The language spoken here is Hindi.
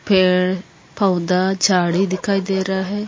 पेड़ - पौधा झाड़ी दिखाई दे रहा है।